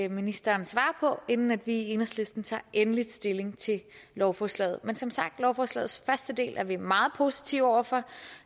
ministeren svarer på inden vi i enhedslisten tager endelig stilling til lovforslaget men som sagt lovforslagets første del er vi meget positive over for